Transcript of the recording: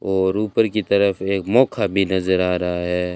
और ऊपर की तरफ एक मौखा भी नजर आ रहा है।